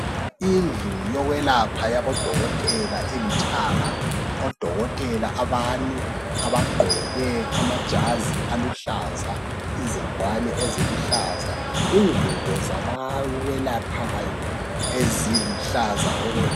Indlu yokwelapha eyabo dokotela elithanga, odokotela abane abagqoke amajazi aluhlaza izingwane eziluhlaza. Ingubo zabawelaphayo eziluhlaza.